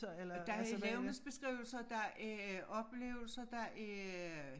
Der er levnedsbeskrivelser der er oplevelser der er